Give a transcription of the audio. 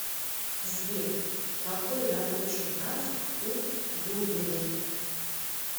сбер какой рабочий график у дудиной